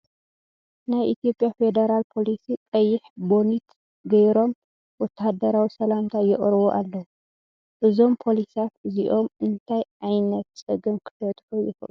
ናይ ኢትዮጵያ ፌደራል ፖሊስ ቀይሕ ቦኒት ገይሮም ወተሃደራዊ ስላምታ የቅርቡ ኣለዉ ። እዞም ፖሊሳት እዚኦም እናትይ ዕይነት ፀገም ክፈትሑ ይክእሉ ?